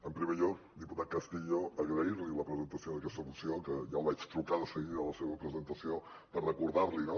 en primer lloc diputat castillo agrair li la presentació d’aquesta moció que ja li vaig trucar de seguida a la seva presentació per recordar li no